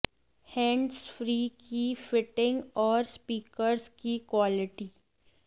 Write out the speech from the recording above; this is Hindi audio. हैंड्स फ्री की फिटिंग और स्पीकर्स की क्वालिटी